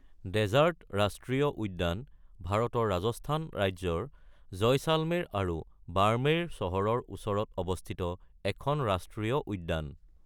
Desert ৰাষ্ট্ৰীয় উদ্যান ভাৰতৰ ৰাজস্থান ৰাজ্যৰ জয়সলমেৰ আৰু বাৰ্মেৰ চহৰৰ ওচৰত অৱস্থিত এখন ৰাষ্ট্ৰীয় উদ্যান।